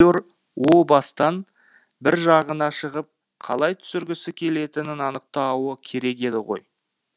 о бастан бір жағына шығып қалай түсіргісі келетінін анықтауы керек еді ғой